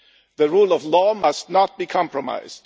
The rule of law must not be compromised.